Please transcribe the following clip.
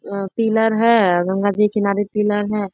अ pillar है गंगा जी किनारे pillar है।